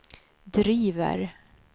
driver